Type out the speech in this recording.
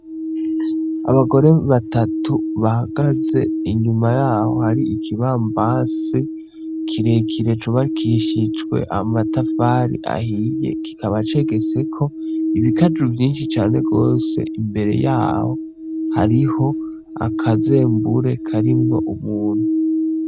Abagore Batatu Bahagaze Inyuma Yaho Hari Ikibambase Kirekire Cubakishijwe Amatafari Ahiye, Kikaba Cegetseko Ibikaju Vyinshi Cane Gose, Imbere Yaho Hariho Akazembure Karimwo Umuntu.